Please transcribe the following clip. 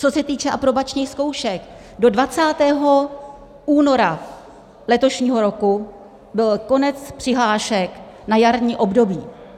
Co se týče aprobačních zkoušek, do 20. února letošního roku byl konec přihlášek na jarní období.